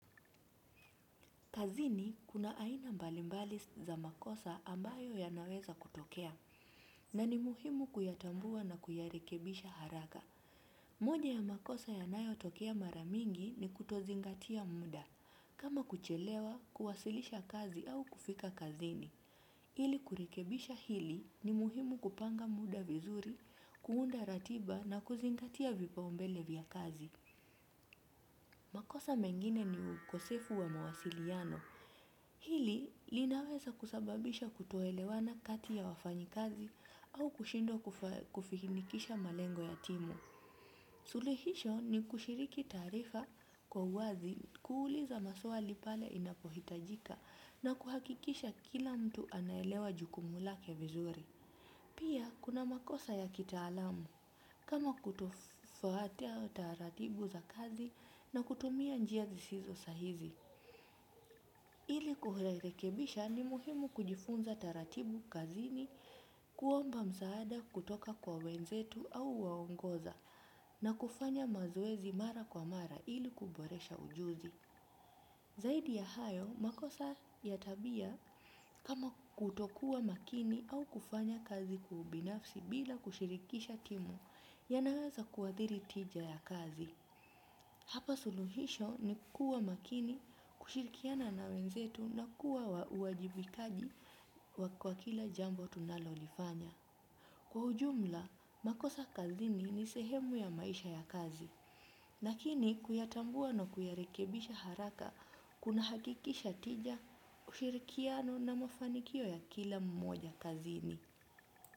Kazini kuna aina mbalimbali za makosa ambayo yanaweza kutokea, na ni muhimu kuyatambua na kuyarekebisha haraka. Moja ya makosa yanayo tokea mara mingi ni kutozingatia muda, kama kuchelewa, kuwasilisha kazi au kufika kazini. Ili kurekebisha hili ni muhimu kupanga muda vizuri, kuunda ratiba na kuzingatia vipaumbele vya kazi. Makosa mengine ni ukosefu wa mawasiliano. Hili linaweza kusababisha kutoelewana kati ya wafanyikazi au kushinda kufanikisha malengo ya timu. Suluhisho ni kushiriki taarifa kwa uwazi kuuliza maswali pale inapohitajika na kuhakikisha kila mtu anaelewa jukumu lake vizuri. Pia kuna makosa ya kitaalamu kama kutofuata taratibu za kazi na kutumia njia zisizo sahihi. Ili kurekebisha ni muhimu kujifunza taratibu kazini kuomba msaada kutoka kwa wenzetu au waongoza na kufanya mazoezi mara kwa mara ili kuboresha ujuzi. Zaidi ya hayo, makosa ya tabia kama kutokuwa makini au kufanya kazi kibinafsi bila kushirikisha timu ya naweza kuadhiri tija ya kazi. Hapa suluhisho ni kuwa makini, kushirikiana na wenzetu na kuwa wa uwajibikaji wa kwa kila jambo tunalo lifanya. Kwa ujumla, makosa kazini ni sehemu ya maisha ya kazi. Lakini, kuyatambua na kuyarekebisha haraka, kuna hakikisha tija, ushirikiano na mafanikio ya kila mmoja kazini.